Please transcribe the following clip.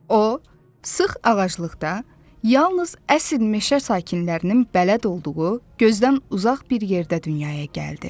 O sıx ağaclıqda, yalnız əsil meşə sakinlərinin bələd olduğu, gözdən uzaq bir yerdə dünyaya gəldi.